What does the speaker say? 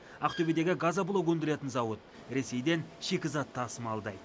ақтөбедегі газоблок өндіретін зауыт ресейден шикізат тасымалдайды